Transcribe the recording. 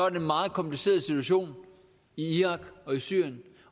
en meget kompliceret situation i irak og i syrien